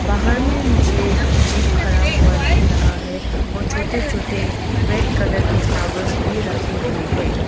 बाहर में मुझे जीप खड़ा हुआ दिख रहा है और छोटे छोटे रेड कलर के फ्लावर्स भी रखे हुए हैं।